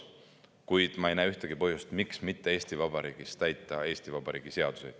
Kuid ma ei näe ühtegi põhjust, miks mitte Eesti Vabariigis täita Eesti Vabariigi seadusi.